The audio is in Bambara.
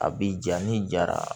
A bi ja ni jara